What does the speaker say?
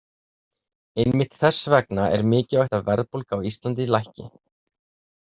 Einmitt þess vegna er mikilvægt að verðbólga á Íslandi lækki.